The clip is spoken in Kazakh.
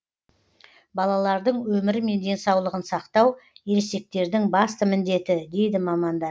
балалардың өмірі мен денсаулығын сақтау ересектердің басты міндеті дейді мамандар